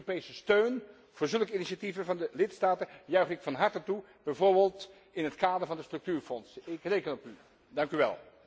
Europese steun voor zulke initiatieven van de lidstaten juich ik van harte toe, bijvoorbeeld in het kader van de structuurfondsen. Ik reken op u.